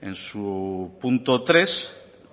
en su punto tres